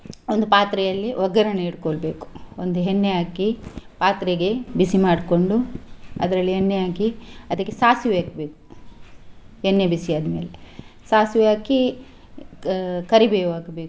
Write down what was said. ಒಂದು ಪಾತ್ರೆಯಲ್ಲಿ ಒಗ್ಗರಣೆ ಇಡ್ಕೊಳ್ಬೇಕು ಒಂದು ಹೆನ್ನೆ ಹಾಕಿ ಪಾತ್ರೆಗೆ ಬಿಸಿ ಮಾಡ್ಕೊಂಡು ಅದ್ರಲ್ಲಿ ಎಣ್ಣೆ ಹಾಕಿ ಅದಿಕ್ಕೆ ಸಾಸಿವೆ ಹಾಕ್ಬೇಕು ಎಣ್ಣೆ ಬಿಸಿ ಆದ್ಮೇಲೆ ಸಾಸಿವೆ ಹಾಕಿ ಕರಿಬೇವು ಹಾಕ್ಬೇಕು.